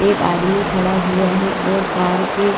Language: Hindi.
एक आदमी खड़ा हुआ है और कार के--